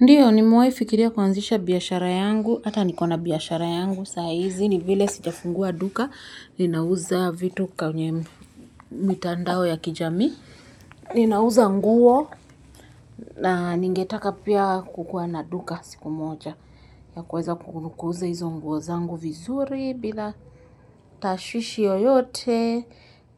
Ndio nimewahi fikiria kuanzisha biashara yangu, hata niko na biashara yangu, saa hizi ni vile sijafungua duka, ninauza vitu kwenye mitandao ya kijamii, ninauza nguo na ningetaka pia kukuwa na duka siku moja. Ya kuweza kuuza hizo nguo zangu vizuri bila tashwishi yoyote,